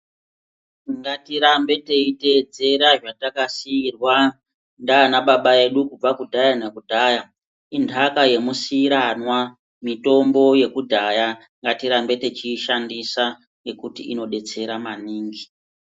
Ngatirambe teyi tedzera zvataka siirwa ndiana baba edu kubva kudhaya na kudhaya idhaka ye musiranwa mitombo yekudhaya ngati rambe techi shandisa nekuti ino detsera maningi.